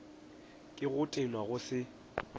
ke go tenwa go se